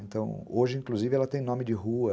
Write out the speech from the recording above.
Então, hoje, inclusive, ela tem nome de rua.